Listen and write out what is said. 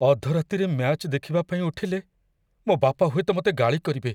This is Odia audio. ଅଧରାତିରେ ମ୍ୟାଚ୍ ଦେଖିବା ପାଇଁ ଉଠିଲେ, ମୋ ବାପା ହୁଏତ ମତେ ଗାଳି କରିବେ ।